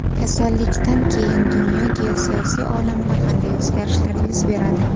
Kasallikdan keyin dunyo geosiyosiy olamida qanday o‘zgarishlar yuz beradi?